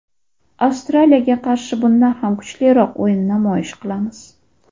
Avstraliyaga qarshi bundan ham kuchliroq o‘yin namoyish qilamiz.